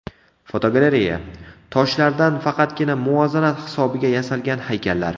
Fotogalereya: Toshlardan faqatgina muvozanat hisobiga yasalgan haykallar.